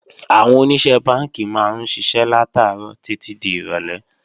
Àwọn Oníṣẹ́ Bánkì máa ń ṣiṣẹ́ látàárọ̀ títí di ìrọ̀lé